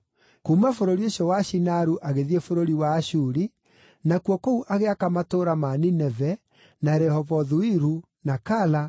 Kuuma bũrũri ũcio wa Shinaru agĩthiĩ bũrũri wa Ashuri, nakuo kũu agĩaka matũũra ma Nineve, na Rehobothu-Iru, na Kala,